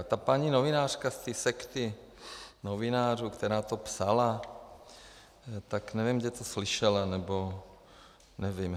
A ta paní novinářka z té sekty novinářů, která to psala, tak nevím, kde to slyšela, nebo nevím.